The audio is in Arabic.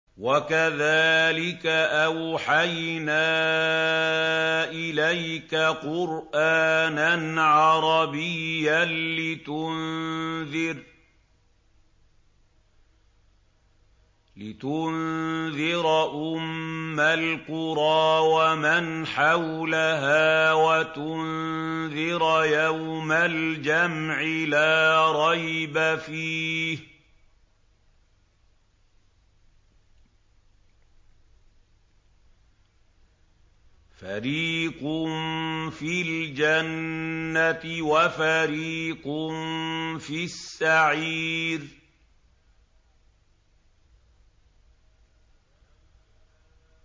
وَكَذَٰلِكَ أَوْحَيْنَا إِلَيْكَ قُرْآنًا عَرَبِيًّا لِّتُنذِرَ أُمَّ الْقُرَىٰ وَمَنْ حَوْلَهَا وَتُنذِرَ يَوْمَ الْجَمْعِ لَا رَيْبَ فِيهِ ۚ فَرِيقٌ فِي الْجَنَّةِ وَفَرِيقٌ فِي السَّعِيرِ